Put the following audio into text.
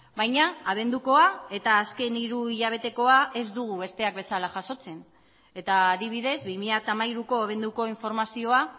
baina abendukoa eta azken hiru hilabetekoa ez dugu besteak bezala jasotzen eta adibidez bi mila hamairuko abenduko informazioa